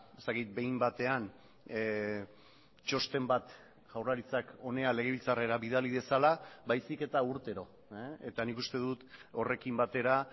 ez dakit behin batean txosten bat jaurlaritzak hona legebiltzarrera bidali dezala baizik eta urtero eta nik uste dut horrekin batera